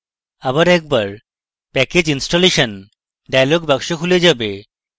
আবার একবার package installation dialog box খুলে যাবে